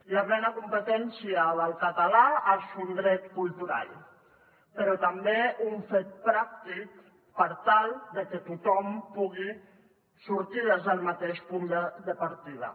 la plena competència del català és un dret cultural però també un fet pràctic per tal que tothom pugui sortir des del mateix punt de partida